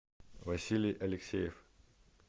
василий алексеев